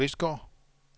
Kvistgård